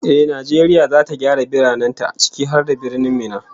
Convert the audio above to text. Ehh, Najeriya zata gyara biranen ta, ciki har da Birnin Minna